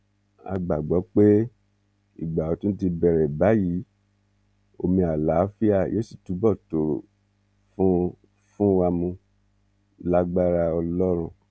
a gbàgbọ pé ìgbà ọtún ti bẹrẹ báyìí omi àlàáfíà yóò sì túbọ tòrò fún fún wa mú lágbára ọlọrun